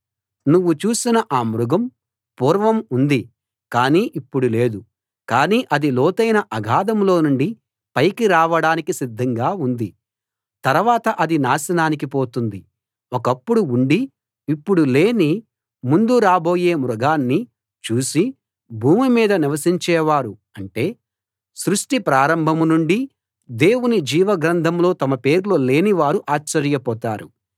నువ్వు చూసిన ఆ మృగం పూర్వం ఉంది కానీ ఇప్పుడు లేదు కానీ అది లోతైన అగాధంలో నుండి పైకి రావడానికి సిద్ధంగా ఉంది తరవాత అది నాశనానికి పోతుంది ఒకప్పుడు ఉండి ఇప్పుడు లేని ముందు రాబోయే మృగాన్ని చూసి భూమిమీద నివసించేవారు అంటే సృష్టి ప్రారంభం నుండీ దేవుని జీవ గ్రంథంలో తమ పేర్లు లేని వారు ఆశ్చర్యపోతారు